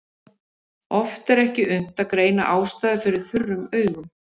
Oft er ekki unnt að greina ástæður fyrir þurrum augum.